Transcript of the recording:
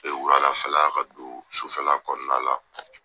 wula lafɛ la ka don sufɛ la kɔnɔna la.